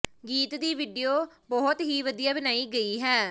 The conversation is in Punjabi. ਗੀਤ ਦੀ ਵੀਡੀਓ ਬਹੁਤ ਹੀ ਵਧੀਆ ਬਣਾਈ ਗਈ ਹੈ